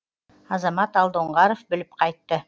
азамат алдоңғаров біліп қайтты